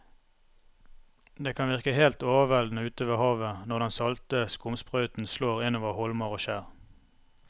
Det kan virke helt overveldende ute ved havet når den salte skumsprøyten slår innover holmer og skjær.